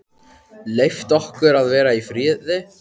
Leyft okkur að vera í friði?